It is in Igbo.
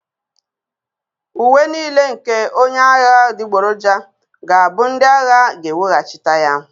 Uwe niile nke onye agha adịgboroja ga-abụ ndị agha ga-eweghachite ya